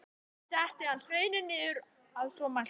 Setti hann sveininn niður að svo mæltu.